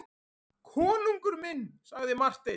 Konungur minn, sagði Marteinn.